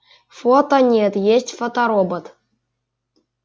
фото нет есть фоторобот